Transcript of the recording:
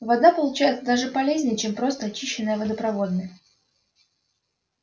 вода получается даже полезнее чем просто очищенная водопроводная